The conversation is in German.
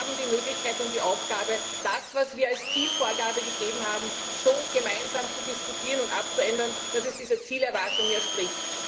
Sie haben die Möglichkeit und die Aufgabe, das, was wir als Zielvorgabe gegeben haben, so gemeinsam zu diskutieren und abzuändern, dass es dieser Zielerwartung entspricht.